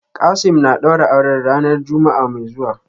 Kasim na daura auren ranar ta Juma'a mai zuwa.